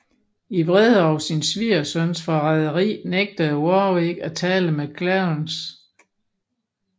I vrede over sin svigersøns forræderi nægtede Warwick at tale med Clarence